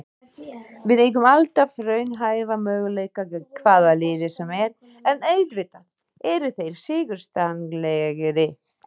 Við eigum alltaf raunhæfa möguleika gegn hvaða liði sem er, en auðvitað eru þeir sigurstranglegri.